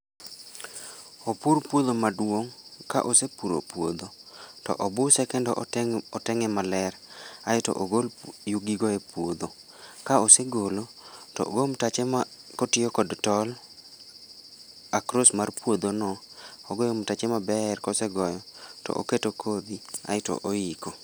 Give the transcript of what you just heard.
Opur puodho maduong'. Ka osepuro puodho, to obuse kendo ote oteng'e maler. Aeto ogol yugi go e puodho. Ka osegolo, to ogo mtache ma kotiyo kod tol across mar puodho no, ogoyo mtache maber gosegoyo, to oketo kodhi, aeto oiko